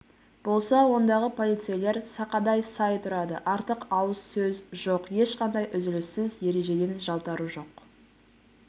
болса ондағы полицейлер сақадай сай тұрады артық ауыз сөз жоқ ешқандай үзіліссіз ережеден жалтару жоқ